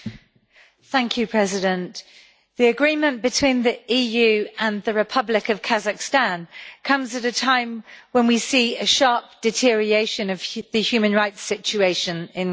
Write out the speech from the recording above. Mr President, the Agreement between the EU and the Republic of Kazakhstan comes at a time when we see a sharp deterioration in the human rights situation in Kazakhstan.